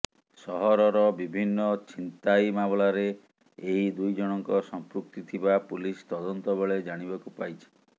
ସହରର ବିଭିନ୍ନ ଛିନ୍ତାଇ ମାମଲାରେ ଏହି ଦୁଇଜଣଙ୍କ ସଂପୃକ୍ତି ଥିବା ପୁଲିସ ତଦନ୍ତ ବେଳେ ଜାଣିବାକୁ ପାଇଛି